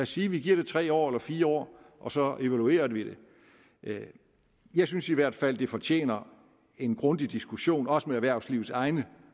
sige at vi giver det tre år eller fire år og så evaluerer vi det jeg synes i hvert fald at det fortjener en grundig diskussion også med erhvervslivets egne